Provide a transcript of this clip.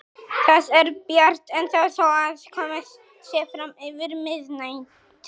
Það er bjart ennþá þó að komið sé fram yfir miðnætti.